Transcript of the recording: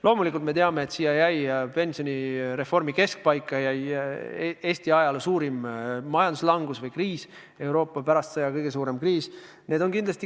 Loomulikult me teame, et pensionireformi keskpaika jäi Eesti ajaloo suurim majanduslangus või kriis, Euroopa kõige suurem sõjajärgne kriis.